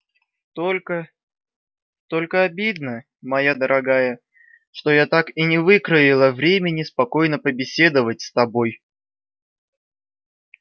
только только обидно моя дорогая что я так и не выкроила времени спокойно побеседовать с тобой